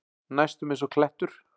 Næstum einsog klettur.